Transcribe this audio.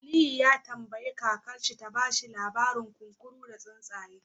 Aliyu ya tambayi kakarsa ta ba shi labarin kunkuru da tsuntsaye